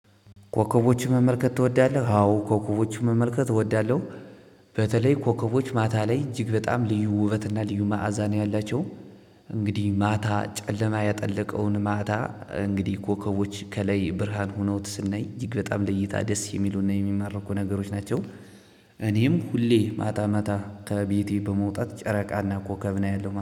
ኮከቦችን መመልከት ትወዳለህ? አዎ ኮከቦችን መመልከት እወዳለሁ። በተለይ ኮከቦች ማታ ላይ እጅግ በጣም ልዩ ውበት እና ልዩ መዓዛ ነው ያላቸው። እንግዲህ ማታ ጨለማ ያጠለቀውን ማታ እንግዲህ ኮከቦች ከላይ ብርሃን ሆነው ስናይ እጅግ በጣም ለይታ ደስ የሚሉና የሚማርኩ ነገሮች ናቸው። ሁሌ ማታ ማታ ከቤቴ በመውጣት ጨረቃና ኮከብን አያለው